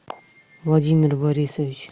владимир борисович